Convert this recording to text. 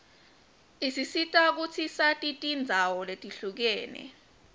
isisita kutsi sati tindzawo letihlukene